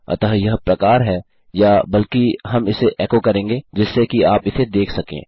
अतः यह प्रकार है या बल्कि हम इसे एको करेंगे जिससे कि आप इसे देख सकें